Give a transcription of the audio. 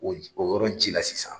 O o yɔrɔn ji la sisan.